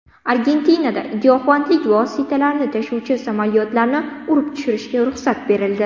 Argentinada giyohvandlik vositalarini tashuvchi samolyotlarni urib tushirishga ruxsat berildi.